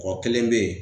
Kɔ kelen bɛ yen